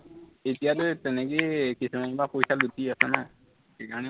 এতিয়ালৈ তেনেকেই কিছুমানৰ পৰা পইচা লুটি আছে ন, সেইকাৰণে